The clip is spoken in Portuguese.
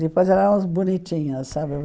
Depois éramos bonitinhas, sabe?